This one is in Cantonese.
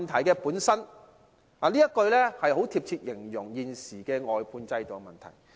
這句說話很貼切地形容現時的外判制度問題。